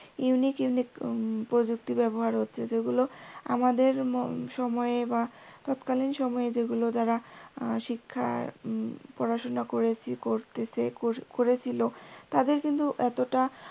uniqueunique প্রযুক্তি ব্যবহার হচ্ছে যেগুলো আমাদের সময়ে বা তৎকালীন সময়ে যেগুলো যারা শিক্ষার পড়াশোনা করেছি করতেছি করেছিল তাদের কিন্তু এতটা